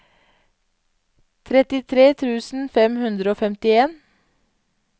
trettitre tusen fem hundre og femtien